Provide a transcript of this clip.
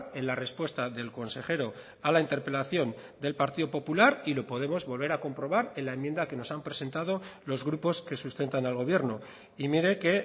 en la respuesta del consejero a la interpelación del partido popular y lo podemos volver a comprobar en la enmienda que nos han presentado los grupos que sustentan al gobierno y mire que